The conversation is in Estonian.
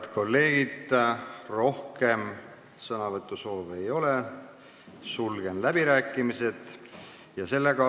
Head kolleegid, rohkem sõnavõtusoove ei ole, sulgen läbirääkimised.